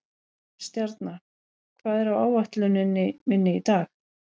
Stjarna, hvað er á áætluninni minni í dag?